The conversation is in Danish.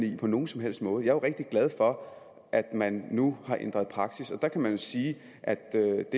ikke på nogen som helst måde jeg er rigtig glad for at man nu har ændret praksis og der kan man jo sige at det er